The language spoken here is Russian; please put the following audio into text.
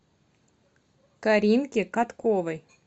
каринке катковой